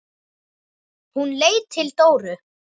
Hún leit til Dóru.